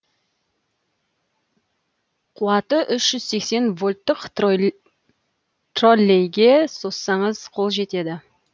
қуаты үш жүз сексен вольттық троллейге созсаңыз қол жетеді